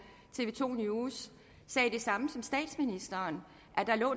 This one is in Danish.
tv to news sagde det samme som statsministeren at der